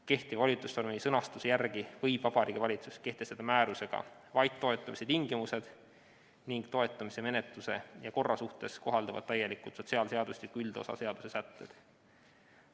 Kehtiva volitusnormi sõnastuse järgi võib Vabariigi Valitsus kehtestada määrusega vaid toetamise tingimused ning toetamise menetluse ja korra suhtes kohalduvad täielikult sotsiaalseadustiku üldosa seaduse sätted.